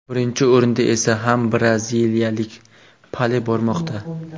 Birinchi o‘rinda esa ham braziliyalik Pele bormoqda.